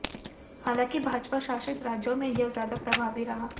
हालांकि भाजपा शासित राज्यों में यह ज्यादा प्रभावी रहा